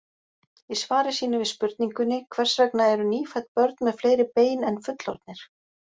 Í svari sínu við spurningunni Hvers vegna eru nýfædd börn með fleiri bein en fullorðnir?